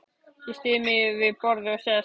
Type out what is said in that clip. Ég styð mig við borðið og sest.